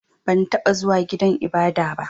Ban taɓa zuwa gidan ibada ba.